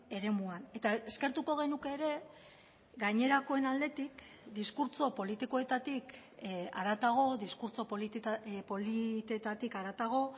eremuan eta eskertuko genuke ere gainerakoen aldetik diskurtso politikoetatik haratago diskurtso politetatik haratago